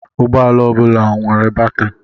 Ụgbọala ọ bụla nwere batrị.